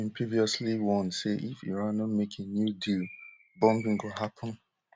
trump bin previously warn say if iran no make a new deal bombing go happun